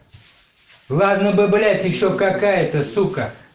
ладно бы блять ещё какая-то сука